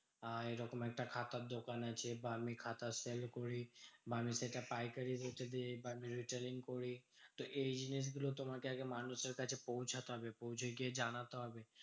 আহ এইরকম একটা খাতার দোকান আছে বা আমি খাতা sell করি বা সেটা পাইকারি বেচে দিই বা retailing করি। তো এই জিনিসগুলো তোমাকে আগে মানুষের কাছে পৌঁছাতে হবে, পৌঁছে গিয়ে জানাতে হবে।